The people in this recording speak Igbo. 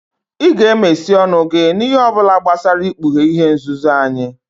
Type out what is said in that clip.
Ị ga-emesi ọnụ gị n'ihe ọbụla gbasara ikpughe ihe nzuzo anyị!